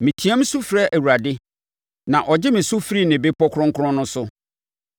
Meteam su frɛ Awurade, na ɔgye me so firi ne bepɔ kronkron no so.